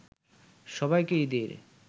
সবাইকে ঈদের